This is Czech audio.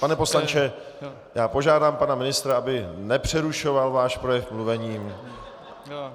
Pane poslanče, já požádám pana ministra, aby nepřerušoval váš projev mluvením.